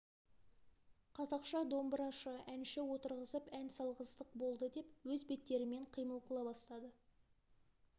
қазақша домбырашы әнші отырғызып ән салғыздық болды деп өз беттерімен қимыл қыла бастады